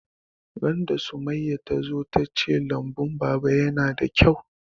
Ran da Summaya ta zo ta ce lambun baba yana da kyau